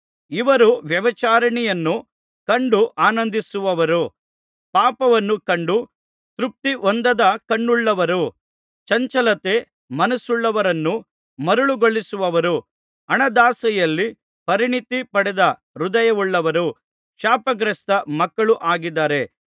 ಇವರು ವ್ಯಭಿಚಾರಿಣಿಯನ್ನು ಕಂಡು ಆನಂದಿಸುವವರೂ ಪಾಪವನ್ನು ಕಂಡು ತೃಪ್ತಿಹೊಂದದ ಕಣ್ಣುಳ್ಳವರೂ ಚಂಚಲತೆ ಮನಸ್ಸುವುಳ್ಳವರನ್ನು ಮರುಳುಗೊಳಿಸುವವರೂ ಹಣದಾಸೆಯಲ್ಲಿ ಪರಿಣಿತಿ ಪಡೆದ ಹೃದಯವುಳ್ಳವರೂ ಶಾಪಗ್ರಸ್ತ ಮಕ್ಕಳೂ ಆಗಿದ್ದಾರೆ